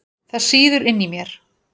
Það sýður inni í mér.